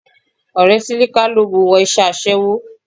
Ọ̀rẹ́ Sílíká ló mu wọ iṣẹ́ aṣẹ́wó